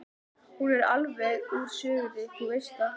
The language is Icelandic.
Hún er alveg úr sögunni, þú veist það.